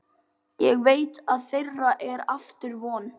Ég veit að þeirra er aftur von.